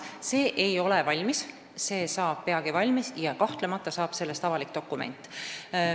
Kõnealune audit ei ole valmis, aga see valmib peagi ja kahtlemata saab sellest avalik dokument.